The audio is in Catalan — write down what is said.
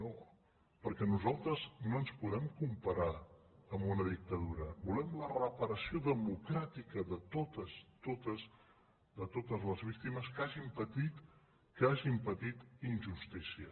no perquè nosaltres no ens podem comparar amb una dictadura volem la reparació democràtica de totes totes les víctimes que hagin patit injustícia